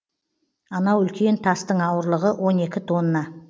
анау үлкен тастың ауырлығы он екі тонна